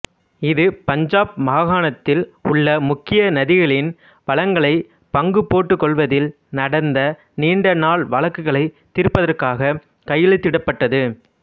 இது பஞ்சாப் மாகாணம்த்தில் உள்ள முக்கிய நதிகளின் வளங்களைப் பங்கு போட்டுக்கொள்வதில் நடந்த நீண்ட நாள் வழக்குகளைத் தீர்ப்பதற்காகக் கையெழுத்திடப்பட்டது